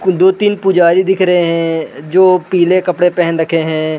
कुल दो तीन पुजारी दिख रहे हैं जो पीले कपडे पहन रखे हैं।